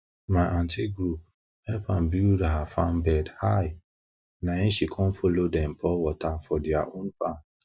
my aunty group help am build her farm bed high nai she com follow dem pour water for their own farm